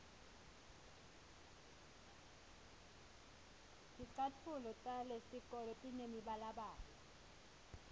ticatfulo talesitolo tinemibalabala